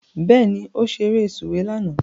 Bẹ́ẹ̀ni, ó ṣeré sùwé lánàá